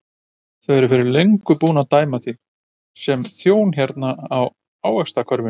Þau eru fyrir löngu búin að dæma þig sem þjón hérna í ávaxtakörfunni.